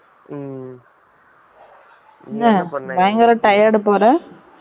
என்ன பயங்கர tired பொல பேச்சே வித்யாசமா இருக்கு